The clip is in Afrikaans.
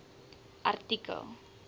artikel